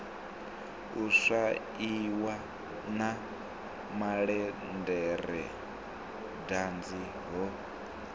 u swaiwa na malederedanzi ho